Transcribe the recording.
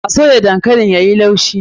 A soya dankalin yayi laushi.